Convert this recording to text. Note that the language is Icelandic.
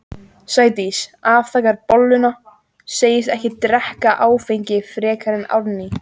Sædís afþakkar bolluna, segist ekki drekka áfengi frekar en Árný.